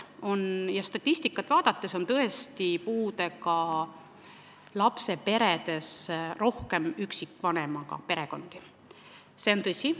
Statistikat vaadates on tõesti näha, et puudega lapsega perede hulgas on rohkem üksikvanemaga perekondi, see on tõsi.